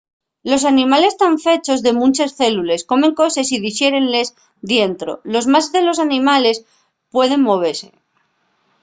los animales tán fechos de munches célules comen coses y dixérenles dientro los más de los animales pueden movese